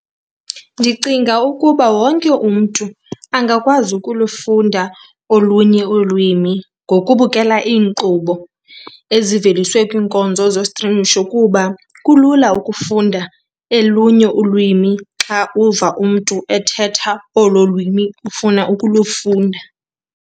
Ndicinga ukuba wonke umntu angakwazi ukulufunda olunye ulwimi ngokubukela iinkqubo eziveliswe kwiinkonzo zostrimisho kuba kulula ukufunda elunye ulwimi xa uva umntu ethetha olo lwimi ufuna ukulufunda.